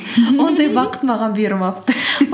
ондай бақыт маған бұйырмапты